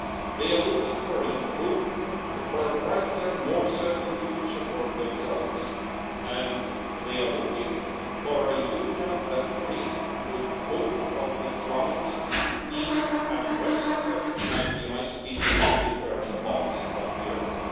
They are looking for hope, for a brighter more certain future for themselves, and they are looking for a union that breathes with both of its lungs East and West and unites people from different parts of Europe.